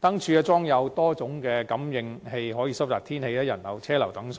燈柱裝有多功能感應器，可以收集天氣、人流、車流等數據。